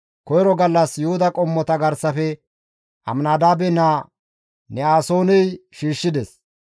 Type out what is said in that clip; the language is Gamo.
Koyro gallas Yuhuda qommota garsafe Aminadaabe naa Ne7asooney shiishshides.